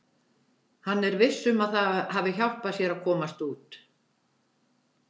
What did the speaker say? Hann er viss um að það hafi hjálpað sér að komast út.